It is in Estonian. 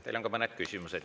Teile on ka mõned küsimused.